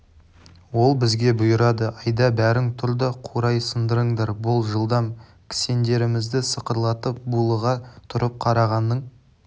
ол бізге бұйырады айда бәрің тұр да қурай сындырыңдар бол жылдам кісендерімізді сықырлатып булыға тұрып қарағанның